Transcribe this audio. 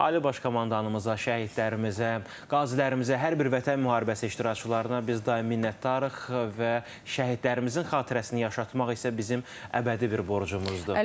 Ali Baş Komandanımıza, şəhidlərimizə, qazilərimizə, hər bir Vətən müharibəsi iştirakçılarına biz daim minnətdarıq və şəhidlərimizin xatirəsini yaşatmaq isə bizim əbədi bir borcumuzdur.